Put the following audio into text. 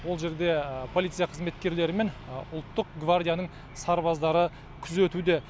ол жерде полиция қызметкерлері мен ұлттық гвардияның сарбаздары күзетуде